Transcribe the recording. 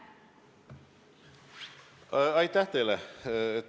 Aitäh teile!